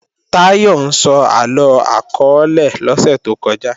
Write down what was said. Táyọ̀ ń sọ àlọ akọọ́lẹ̀ lọ́sẹ̀ tó kọjá